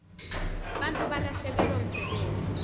bantfu balahlekelwa msebenti